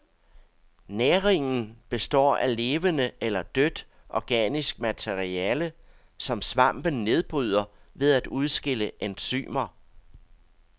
Næringen består af levende eller dødt organisk materiale, som svampen nedbryder ved at udskille enzymer.